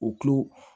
U tulo